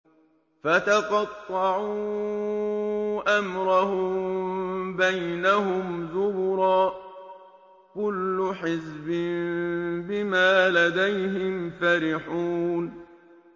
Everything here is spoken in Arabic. فَتَقَطَّعُوا أَمْرَهُم بَيْنَهُمْ زُبُرًا ۖ كُلُّ حِزْبٍ بِمَا لَدَيْهِمْ فَرِحُونَ